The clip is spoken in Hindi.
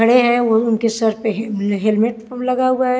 खड़े हैं व उनके सर पे हेलमेट लगा हुआ है।